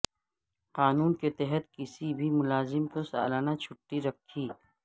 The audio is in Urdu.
قانون کے تحت کسی بھی ملازم کو سالانہ چھٹی رکھی